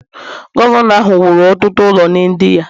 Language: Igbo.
Gọvanọ ahụ wuru ọtụtụ ụlọ nye ndị ya